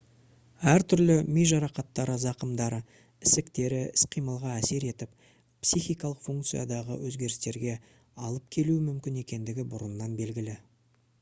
әр түрлі ми жарақаттары зақымдары ісіктері іс-қимылға әсер етіп психикалық функциядағы өзгерістерге әлып келуі мүмкін екендігі бұрыннан белгілі